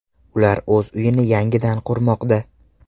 Ular o‘z uyini yangidan qurmoqda.